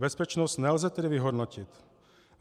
Bezpečnost nelze tedy vyhodnotit.